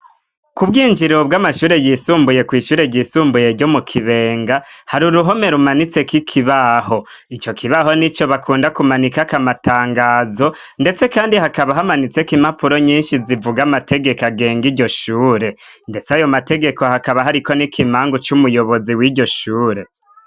Ku bwinjiro bw' amashure yisumbuye kw'ishure ryisumbuye ryo mu kibenga hari uruhome rumanitseko ikibaho ico kibaho ni co bakunda kumanika akamatangazo, ndetse, kandi hakaba hamanitseko imapuro nyinshi zivuga amategeko agenga iryo shure, ndetse ayo mategeko hakaba hariko n'ikimangu c'umuyobozi w'iryo shure.